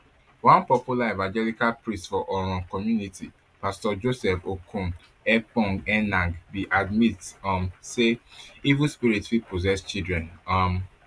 one popular evangelical priest for oron community pastor joseph okon ekpong enang bin admit um say evil spirit fit possess children um